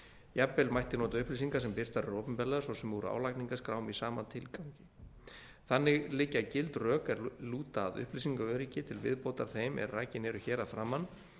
jafnvel mætti nota upplýsingar sem birtar eru opinberlega svo sem úr álagningarskrám í sama tilgangi þannig liggja gild rök er lúta að upplýsingaöryggi til viðbótar þeim er rakin eru hér að framan